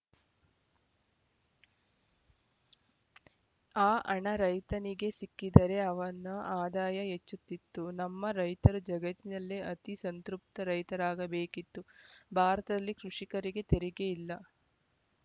ಆ ಹಣ ರೈತನಿಗೇ ಸಿಕ್ಕಿದ್ದರೆ ಅವನ ಆದಾಯ ಹೆಚ್ಚುತ್ತಿತ್ತು ನಮ್ಮ ರೈತರು ಜಗತ್ತಿನಲ್ಲೇ ಅತಿ ಸಂತೃಪ್ತ ರೈತರಾಗಬೇಕಿತ್ತು ಭಾರತಲ್ಲಿ ಕೃಷಿಕರಿಗೆ ತೆರಿಗೆಯಿಲ್ಲ